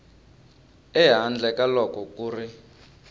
ehandle ka loko ku ri